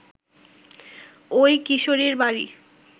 ওই কিশোরীর বাড়ি